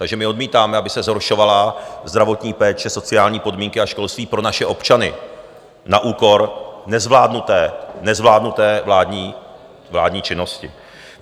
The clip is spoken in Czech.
Takže my odmítáme, aby se zhoršovala zdravotní péče, sociální podmínky a školství pro naše občany na úkor nezvládnuté vládní činnosti.